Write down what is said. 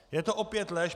Je to opět lež.